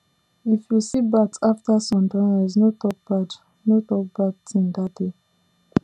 if you see bat after sun don rise no talk bad no talk bad thing that day